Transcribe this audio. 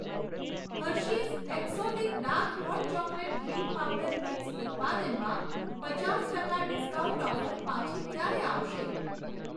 Hershey's exotic dark hot chocolate drink powder mix ઉત્પાદનમાં પચાસ ટકા ડિસ્કાઉન્ટ ઓફર પાછી ક્યારે આવશે?